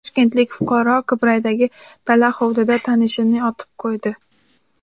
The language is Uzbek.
Toshkentlik fuqaro Qibraydagi dala hovlida tanishini otib qo‘ydi.